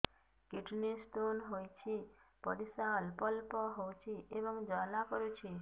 kidney stone ହୋଇଛି ପରିସ୍ରା ଅଳ୍ପ ଅଳ୍ପ ହେଉଛି ଏବଂ ଜ୍ୱାଳା କରୁଛି